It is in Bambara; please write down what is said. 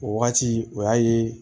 O wagati o y'a ye